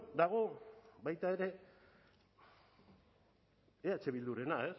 dago baita ere eh bildurena